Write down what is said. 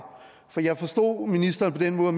for jeg forstod ministeren på den måde